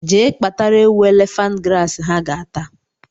Jee kpatara ewu elephant grass ha ga-ata